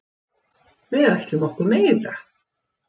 Við ætlum okkur meira.